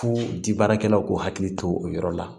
Fo di baarakɛlaw k'u hakili to o yɔrɔ la